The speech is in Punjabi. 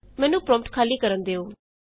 ਮੈਨੂੰ ਪਰੋਂਪਟ ਖਾਲੀ ਕਰਨ ਦਿਉ